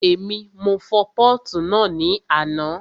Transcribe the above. Èmi, mo fọ pọ́ọ̀tù náà ní àná